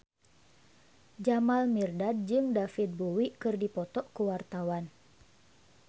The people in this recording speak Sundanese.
Jamal Mirdad jeung David Bowie keur dipoto ku wartawan